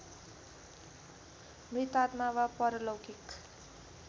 मृतात्मा वा परलौकिक